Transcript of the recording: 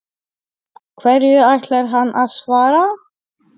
Hverju ætlar hann að svara?